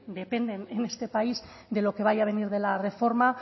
dependen en este país de lo que vaya a venir de la reforma